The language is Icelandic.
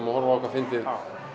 og horfa á eitthvað fyndið